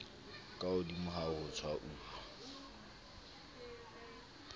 ka hodimo ha ho tshwauwa